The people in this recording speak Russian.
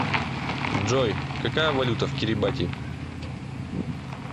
джой какая валюта в кирибати